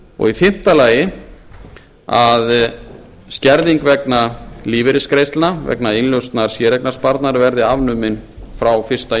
og í fimmta lagi að skerðing vegna lífeyrisgreiðslna vegna innlausnar séreignarsparnaðar verði afnuminn frá fyrsta